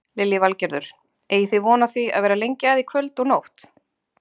Lillý Valgerður: Eigið þið von á því að vera lengi að í kvöld og nótt?